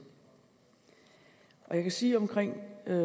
jeg kan sige omkring